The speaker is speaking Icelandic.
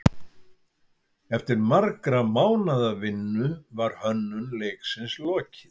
Eftir margra mánaða vinnu var hönnun leiksins lokið.